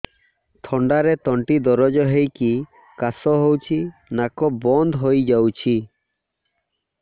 ଥଣ୍ଡାରେ ତଣ୍ଟି ଦରଜ ହେଇକି କାଶ ହଉଚି ନାକ ବନ୍ଦ ହୋଇଯାଉଛି